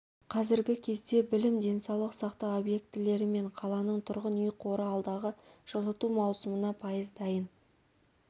қазіргі кезде білім денсаулық сақтау объектілері мен қаланың тұрғын үй қоры алдағы жылыту маусымына пайыз дайын